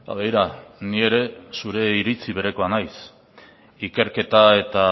begira ni ere zure iritzi berekoa naiz ikerketa eta